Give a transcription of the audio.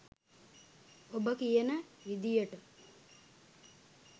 ඔබ කියන විදියට